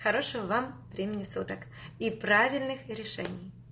хорошего вам времени суток и правильных решений